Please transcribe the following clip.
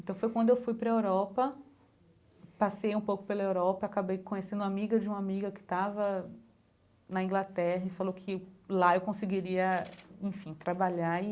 Então foi quando eu fui para a Europa, passei um pouco pela Europa, acabei conhecendo a amiga de uma amiga que estava na Inglaterra e falou que lá eu conseguiria, enfim, trabalhar e...